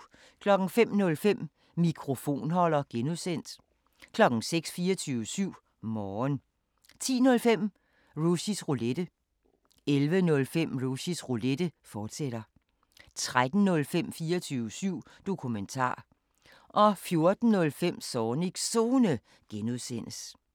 05:05: Mikrofonholder (G) 06:00: 24syv Morgen 10:05: Rushys Roulette 11:05: Rushys Roulette, fortsat 13:05: 24syv Dokumentar 14:05: Zornigs Zone (G)